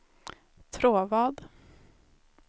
Tråvad